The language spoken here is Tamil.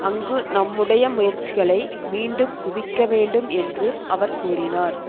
அங்கு நம்முடைய முயற்சிகளை மீண்டும் குவிக்க வேண்டும் என்று அவர் கூறினார்